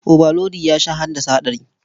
Obalodi ya sha haddasa haɗari.